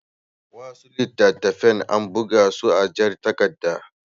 Wasu littattafan ana buga su a jar takarda.